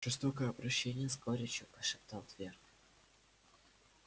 жестокое обращение с горечью прошептал твер